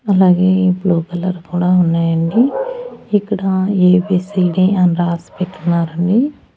అలాగే blue colour కూడా ఉన్నాయండి ఇక్కడ ఏ_బి_సి_డి అని రాసి పెట్టున్నారండి.